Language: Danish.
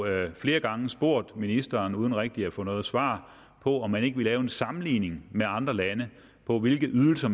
jo flere gange spurgt ministeren uden rigtig at få noget svar på om man ikke ville lave en sammenligning med andre lande på hvilke ydelser